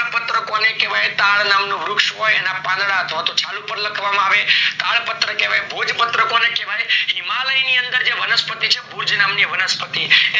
તાડપત્ર કોને કહેવાય? તાડ નામનું વૃક્ષ હોય, એના પાંદડા અથવા તો છાલ પર લખવામાં આવે. તાડપત્ર કહેવાય. ભોજપત્ર કોને કહેવાય? હિમાલયની અંદર જે વનસ્પતિ છે, ભુજ નામની વનસ્પતિ